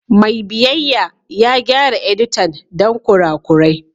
Mai biyayya ya gyara editan don kurakurai.